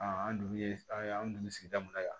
an dugu ye an dun sigida mun na yan